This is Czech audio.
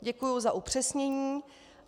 Děkuji za upřesnění.